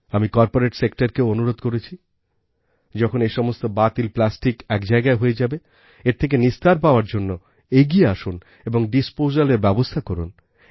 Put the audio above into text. আমি কর্পোরেট sectorকেও অনুরোধ করছি যখন এ সমস্ত বাতিল প্লাস্টিক এক জায়গায় হয়ে যাবে এর থেকে নিস্তার পাওয়ার জন্য এগিয়ে আসুন এবং disposalএর ব্যবস্থা করুন